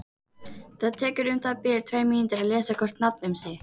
Það tekur um það bil tvær mínútur að lesa hvort nafn um sig.